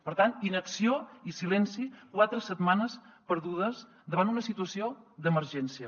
per tant inacció i silenci quatre setmanes perdudes davant una situació d’emergència